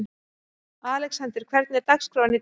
Alexander, hvernig er dagskráin í dag?